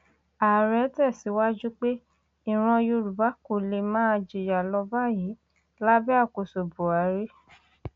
ààrẹ tẹsíwájú pé ìran yorùbá kò lè máa jìyà lọ báyìí lábẹ àkóso buhari